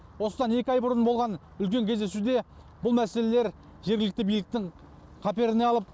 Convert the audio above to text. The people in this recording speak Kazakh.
осыдан екі ай бұрын болған үлкен кездесуде бұл мәселелер жергілікті биліктің қаперіне алып